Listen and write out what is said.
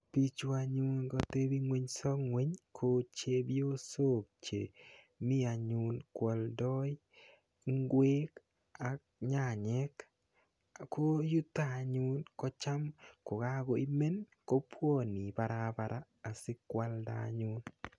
Bichu anyun katebiso ng'weny ko chebiosok che mi anyun ko aldoi ng'wek ak nyanyek ko yuto anyun kocham kokakoimen kobuoni Barbara asikwalda anyun.